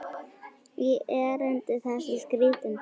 í erindi þessi skrítin tvö.